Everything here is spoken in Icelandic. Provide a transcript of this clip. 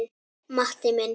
Matti minn.